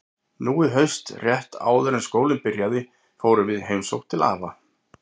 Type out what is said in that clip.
Nú í haust, rétt áður en skólinn byrjaði, fórum við í heimsókn til afa.